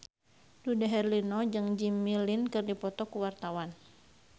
Dude Herlino jeung Jimmy Lin keur dipoto ku wartawan